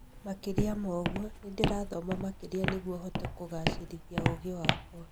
makĩria moguo, nĩ ndĩrathoma makĩria nĩguo hote kugacĩrithia ũũgĩ wakwa .